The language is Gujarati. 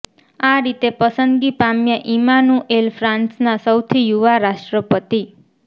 આ રીતે પસંદગી પામ્યા ઈમાનુએલ ફ્રાંસના સૌથી યુવા રાષ્ટ્રપતિ